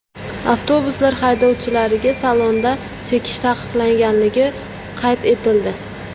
Avtobuslar haydovchilariga salonda chekish taqiqlanganligi qayd etildi.